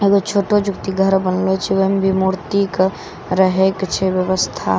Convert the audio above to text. एक गो छोटो जोकि घर बनलौ छे वे में मूर्ति कै रहे के छे व्यवस्था।